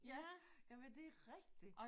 Ja jamen det er rigtigt